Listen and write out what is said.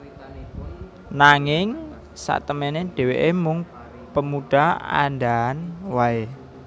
Nanging satemené dhèwèké mung pemudha andhahan waé